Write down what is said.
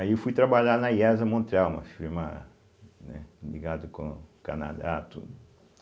Aí eu fui trabalhar na iésa Montreal, uma firma, né, ligado com o Canadá, tudo.